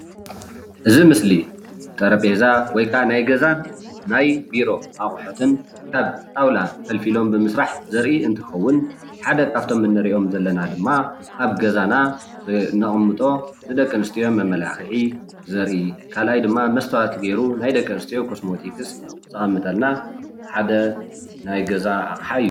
እዚ ምስሊ ጠረጵዛ ወይ ከዓ ናይ ገዛን ናይ ቢሮ ኣቁሑትን ካብ ጣውላ ፈልፊሎም ብምስራሕ ዘርኢ እንትከውን ሓደ ካብቶም እንሪኦም ዘለና ድማ ኣብ ገዛና እነቅምጦ ንደቂ ኣንስትዮ መማላክዒ ዘርኢ ካልኣይ ድማ መስትዋት ገይሩ ናይ ደቂ ኣንስትዮ ኮስመቲክስ ዘቅምጠልና ሓደ ናይ ገዛ ኣቅሓ እዩ፡፡